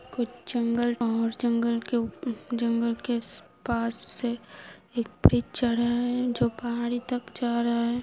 कुछ जंगल और जंगल के उप जंगल के पास से एक ब्रिज जा रहा है जो पहाड़ी तक जा रहा है।